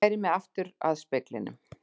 Færi mig aftur að speglinum.